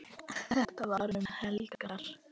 Þetta var um helgar.